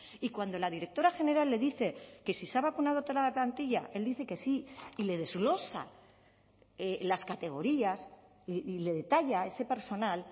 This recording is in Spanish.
y cuando la directora general le dice que si se ha vacunado toda la plantilla él dice que sí y le desglosa las categorías y le detalla ese personal